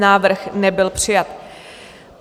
Návrh nebyl přijat.